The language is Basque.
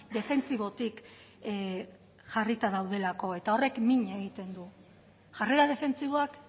defentsibotik jarrita daudelako eta horrek min egiten du jarrera defentsiboak